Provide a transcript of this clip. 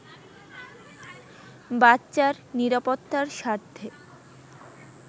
“বাচ্চার নিরাপত্তার স্বার্থে